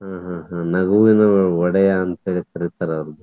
ಹ್ಮ್ ಹ್ಮ್ ಹ್ಮ್ ನಗುವಿನ ಒಡೆಯ ಅಂತ ಹೇಳತೀರ್ತಾರ ಅವ್ರಿಗೆ.